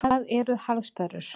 Hvað eru harðsperrur?